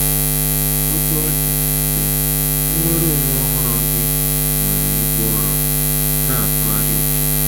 Otú ọ dị, dị, nnwere onwe ọhụrụ gị nwere ibu ọrụ na-atụgharị uche.